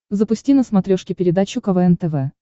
запусти на смотрешке передачу квн тв